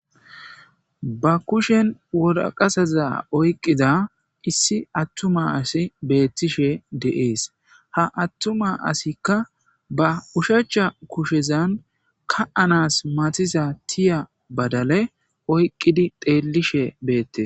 Ba kushen woraqaza oyqqiza issi attuma asi beettishe de'ees. Ha attuma asikka ba ushacha kushezan ka'anas matisa tiya badale oyqqidi teellishe beettes.